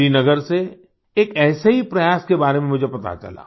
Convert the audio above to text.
श्रीनगर से एक ऐसे ही प्रयास के बारे में मुझे पता चला